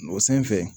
O sanfɛ